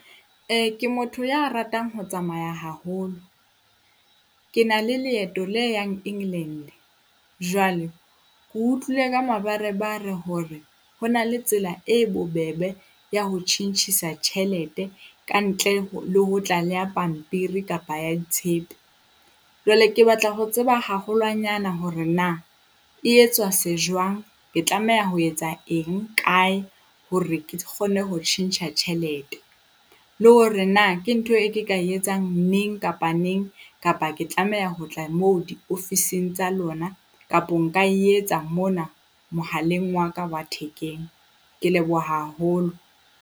Ke motho ya ratang ho tsamaya haholo. Ke na le leeto le yang England, jwale ke utlwile ka mabarebare hore ho na le tsela e bobebe ya ho tjhentjhisa tjhelete kantle le ho tla le ya pampiri kapa ya ditshepe. Jwale ke batla ho tseba haholwanyana hore na e etswa se jwang. Ke tlameha ho etsa eng kae hore ke kgone ho tjhentjha tjhelete, le hore na ke ntho e ke ka etsang neng kapa neng kapa ke tlameha ho tla moo diofising tsa lona kapo nka e etsa mona mohaleng wa ka wa thekeng? Ke leboha haholo.